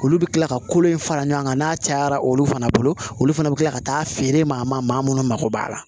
Olu bɛ kila ka kolo in fara ɲɔgɔn kan n'a cayara olu fana bolo olu fana bɛ kila ka taa feere maa ma maa minnu mako b'a la